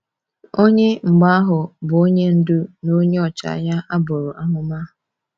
Onye, mgbe ahụ, bụ Onye Ndu na Onye Ọchịagha a buru amụma?